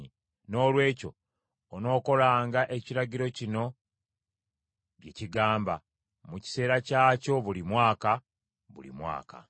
Noolwekyo onookolanga ekiragiro kino bye kigamba, mu kiseera kyakyo buli mwaka, buli mwaka.